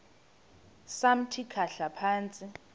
samthi khahla phantsi